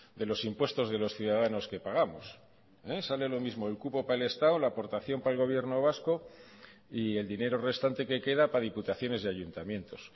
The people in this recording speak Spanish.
de los impuestos de los ciudadanos que pagamos sale lo mismo el cupo para el estado la aportación para el gobierno vasco y el dinero restante que queda para diputaciones y ayuntamientos